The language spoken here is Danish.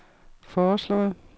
foreslået